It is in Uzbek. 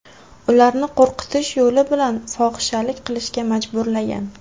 ularni qo‘rqitish yo‘li bilan fohishalik qilishga majburlagan.